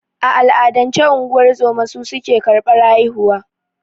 A al'adance, unguwar zoma su suke karɓar haihuwa.